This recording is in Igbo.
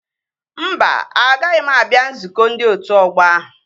Mba, agaghị m abịa nzukọ ndị otu ọgbọ ahụ